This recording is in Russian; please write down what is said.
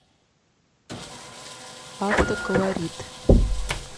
автоколорит